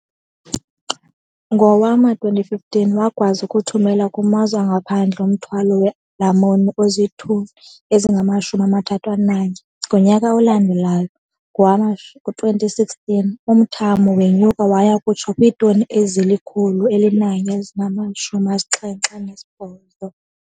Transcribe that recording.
Ngowama-2015, wakwazi ukuthumela kumazwe angaphandle umthwalo weelamuni ozitoni ezingama-31. Ngonyaka olandelayo, ngowama-2016, umthamo wenyuka waya kutsho kwiitoni ezili-178.